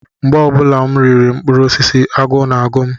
Mgbe ọ bụla m riri mkpụrụ osisi, agụụ na-agụ m.